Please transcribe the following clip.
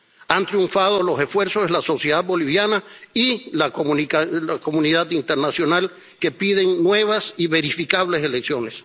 Han triunfado los esfuerzos de la sociedad boliviana y la comunidad internacional que piden nuevas y verificables elecciones.